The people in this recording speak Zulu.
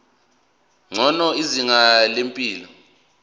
ngcono izinga lempilo